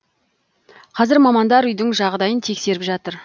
қазір мамандар үйдің жағдайын тексеріп жатыр